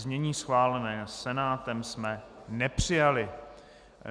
Znění schválené Senátem jsme nepřijali.